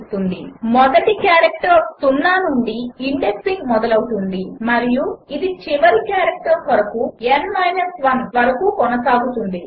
| |626 | మొదటి క్యారెక్టర్కు 0 నుండి ఇండెక్సింగ్ మొదలౌతుంది మరియు ఇది చివరి క్యారెక్టర్ కొరకు వరకు కొనసాగుతుంది